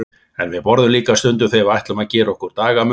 En við borðum líka stundum þegar við ætlum að gera okkur dagamun.